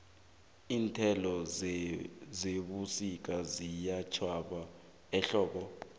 iinthelo zebusika ziyatjhwaba ehlobo